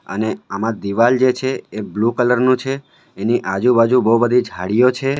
અને આમાં દિવાલ જે છે એ બ્લુ કલર નું છે એની આજુબાજુ બહુ બધી ઝાડિઓ છે.